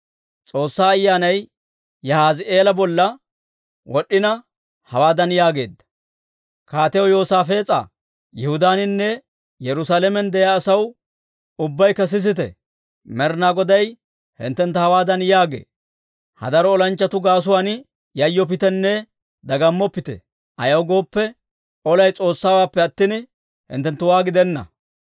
S'oossaa Ayyaanay Yahaazi'eela bolla wod'd'ina, hawaadan yaageedda; «Kaatiyaw Yoosaafees'a, Yihudaaninne Yerusaalamen de'iyaa asaw, ubbaykka sisite! Med'inaa Goday hinttentta hawaadan yaagee; ‹Ha daro olanchchatuu gaasuwaan yayyoppitenne dagammoppite. Ayaw gooppe, olay S'oossawaappe attina, hinttenttuwaa gidenna.